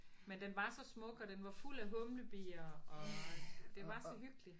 Men den var så smuk og den var fuld af humlebier og det var så hyggeligt